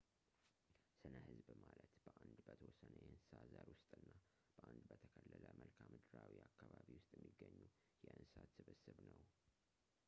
ስነ ህዝብ ማለት በአንድ በተወሰነ የእንስሳ ዘር ውስጥና በአንድ በተከለለ መልካምድራዊ አካባቢ ውስጥ የሚገኙ የእንሰሳት ስብስብ ነው